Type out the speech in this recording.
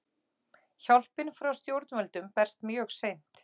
Hjálpin frá stjórnvöldum berst mjög seint